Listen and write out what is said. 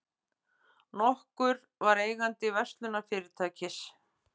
nokkur var eigandi verslunarfyrirtækis.